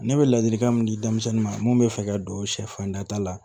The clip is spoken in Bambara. Ne bɛ ladilikan min di denmisɛnnin ma mun bɛ fɛ ka don sɛfan nata la